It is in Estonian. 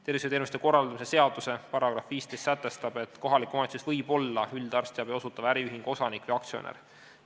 Tervishoiuteenuste korraldamise seaduse § 15 sätestab, et kohalik omavalitsus võib olla üldarstiabi osutava äriühingu osanik või aktsionär.